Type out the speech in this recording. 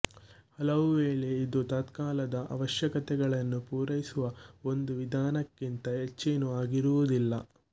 ಹಲವು ವೇಳೆ ಇದು ತತ್ಕಾಲದ ಅವಶ್ಯಕತೆಯನ್ನು ಪೂರೈಸುವ ಒಂದು ವಿಧಾನಕ್ಕಿಂತ ಹೆಚ್ಚೇನೂ ಆಗಿರುವುದಿಲ್ಲ